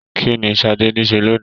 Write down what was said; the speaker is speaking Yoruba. Kínní Sadé nise lónìí?